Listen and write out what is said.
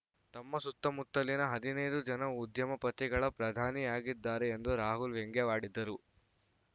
ತಮ್ಮ ಸುತ್ತಮುತ್ತಲಿನ ಹದಿನೈದು ಜನ ಉದ್ಯಮಪತಿಗಳ ಪ್ರಧಾನಿಯಾಗಿದ್ದಾರೆ ಎಂದು ರಾಹುಲ್‌ ವ್ಯಂಗ್ಯವಾಡಿದರು